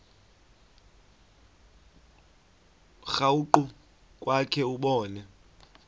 krwaqu kwakhe ubone